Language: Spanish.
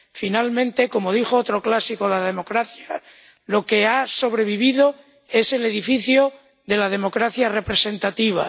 Finalmente, como dijo otro clásico de la democracia, lo que ha sobrevivido es el edificio de la democracia representativa.